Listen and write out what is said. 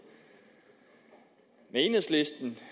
enhedslisten